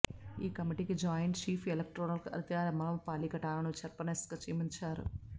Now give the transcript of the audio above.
ఈ కమిటీకి joint chief electoral అధికారి అమ్రపాలి కటాను చైర్పర్సన్గా నియమించారు